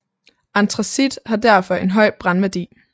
Antracit har derfor en høj brændværdi